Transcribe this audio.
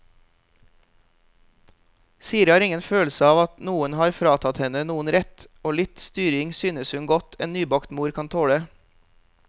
Siri har ingen følelseav at noen har fratatt henne noen rett, og litt styring synes hun godt en nybakt mor kan tåle.